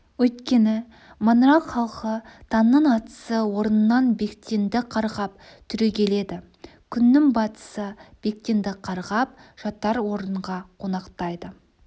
өйткені маңырақ халқы таңның атысы орнынан бектенді қарғап түрегеледі күннің батысы бектенді қарғап жатар орынға қонақтайды